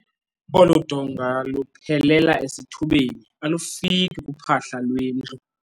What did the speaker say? Olu donga luphelela esithubeni alufiki kuphahla lwendlu.